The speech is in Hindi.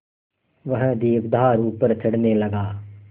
वह दीपाधार ऊपर चढ़ने लगा